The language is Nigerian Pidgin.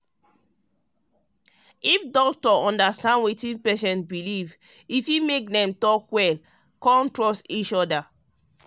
if doctor understand wetin patient believe e fit make dem talk well and trust each other.